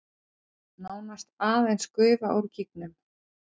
Nánast aðeins gufa úr gígnum